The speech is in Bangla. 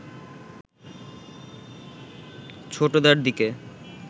ছোটদার দিকে